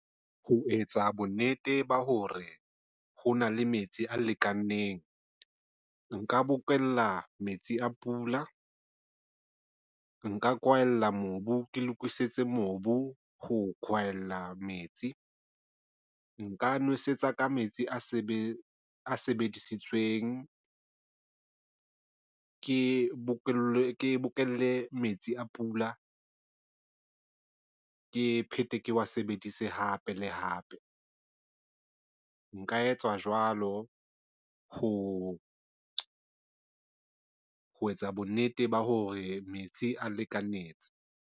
Ho etsa bonnete ba hore ho na le metsi a lekaneng nka bokella metsi a pula nka kwaela mobu ke lokisitse mobu ho kwaela metsi nka nwesetsa ka metsi a sebetsa a sebedisitsweng ke bokelle, bokelle metsi a pula. Ke phete ke wa sebedise hape le hape. Nka etsa jwalo ho etsa bonnete ba hore metsi a lekanetse.